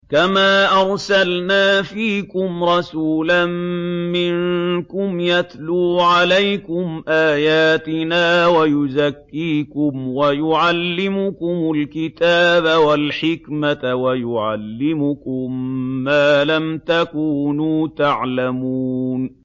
كَمَا أَرْسَلْنَا فِيكُمْ رَسُولًا مِّنكُمْ يَتْلُو عَلَيْكُمْ آيَاتِنَا وَيُزَكِّيكُمْ وَيُعَلِّمُكُمُ الْكِتَابَ وَالْحِكْمَةَ وَيُعَلِّمُكُم مَّا لَمْ تَكُونُوا تَعْلَمُونَ